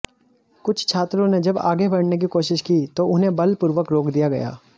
कुछ छात्रों ने जब आगे बढ़ने की कोशिश की तो उन्हें बलपूर्वक रोक दिया गया